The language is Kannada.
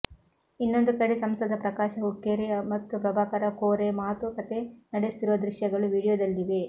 ಇನ್ನೊಂದು ಕಡೆ ಸಂಸದ ಪ್ರಕಾಶ ಹುಕ್ಕೆರಿ ಮತ್ತು ಪ್ರಭಾಕರ ಕೋರೆ ಮಾತು ಕತೆ ನಡೆಸುತ್ತಿರುವ ದೃಶ್ಯಗಳು ವಿಡಿಯೋದಲ್ಲಿವೆ